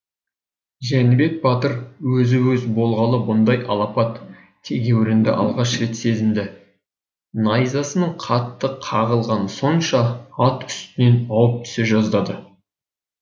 жәнібек батыр өзі өз болғалы бұндай алапат тегеурінді алғаш рет сезінді найзасының қатты қағылғаны сонша ат үстінен ауып түсе жаздады